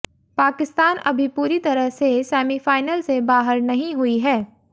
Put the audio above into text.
पाकिस्तान अभी पूरी तरह से सेमीफाइनल से बाहर नहीं हुई है